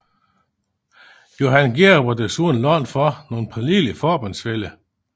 Johan Georg var desuden langt fra nogen pålidelig forbundsfælle